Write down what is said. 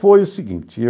Foi o seguinte.